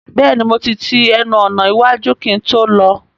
Bẹ́ẹ̀ni mo ti ti ẹnu ọ̀nà iwájú kí n tó lọ